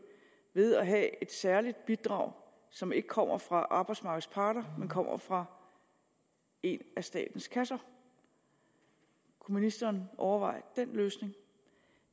ved at have et særligt bidrag som ikke kommer fra arbejdsmarkedets parter men kommer fra en af statens kasser kunne ministeren overveje den løsning